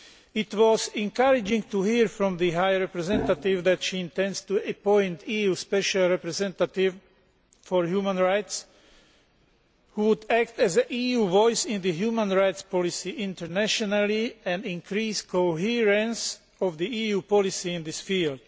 It was encouraging to hear from the High Representative that she intends to appoint an EU special representative for human rights who would act as an EU voice in human rights policy internationally and increase coherence of EU policy in this field.